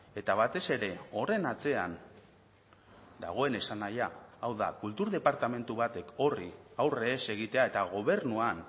eta batez ere horren atzean dagoen esanahia hau da kultur departamentu batek horri aurre ez egitea eta gobernuan